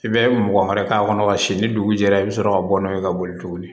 I bɛ mɔgɔ wɛrɛ k'a kɔnɔ ka si ni dugu jɛra i bɛ sɔrɔ ka bɔ n'o ye ka boli tuguni